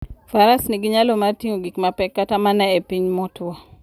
Faras nigi nyalo mar ting'o gik mapek kata mana e piny motwo.